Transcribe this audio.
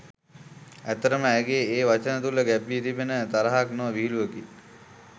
ඇත්තටම ඇයගේ ඒ වචන තුළ ගැබ් වී තිබුණේ තරහක් නොව විහිළුවකි.